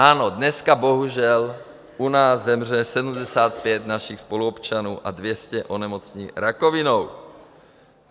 Ano, dneska bohužel u nás zemře 75 našich spoluobčanů a 200 onemocní rakovinou.